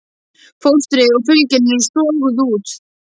Fóstrið og fylgjan eru soguð út.